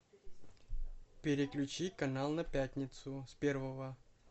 переключи канал на пятницу с первого